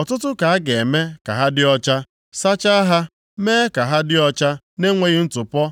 Ọtụtụ ka a ga-eme ka ha dị ọcha, sachaa ha mee ka ha dị ọcha na-enweghị ntụpọ,